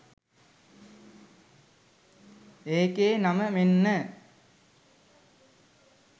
එකේ නම මෙන්න